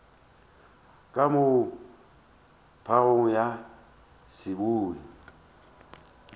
ka moo phagong ya seboi